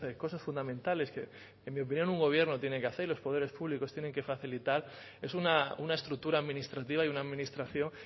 cosas fundamentales que en mi opinión un gobierno tiene que hacer y los poderes públicos tienen que facilitar es una estructura administrativa y una administración